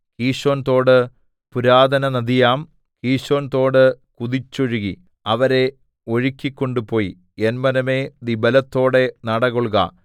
കീശോൻതോട് പുരാതനനദിയാം കീശോൻതോട് കുതിച്ചൊഴുകി അവരെ ഒഴുക്കിക്കൊണ്ട് പോയി എൻ മനമേ നീ ബലത്തോടെ നടകൊൾക